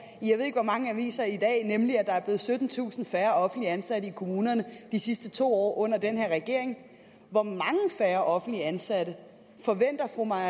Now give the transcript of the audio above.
i jeg ved ikke hvor mange aviser i dag nemlig at der er blevet syttentusind færre offentligt ansatte i kommunerne de sidste to år under den her regering hvor mange færre offentligt ansatte forventer fru maja